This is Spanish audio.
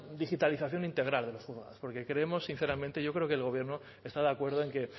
digitalización integral porque queremos sinceramente yo creo que el gobierno está de acuerdo en que